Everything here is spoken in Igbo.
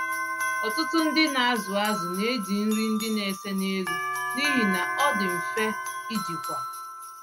Ọtụtụ ndị nazụ azụ neji nri ndị na-ese n'elu, n'ihi na ọndị mfe ijikwa.